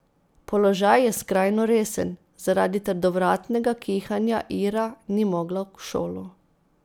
Položaj je skrajno resen, zaradi trdovratnega kihanja Ira ni mogla v šolo.